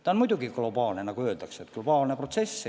Tendents on muidugi globaalne.